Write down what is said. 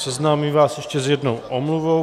Seznámím vás ještě s jednou omluvou.